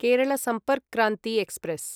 Kerala Sampark Kranti express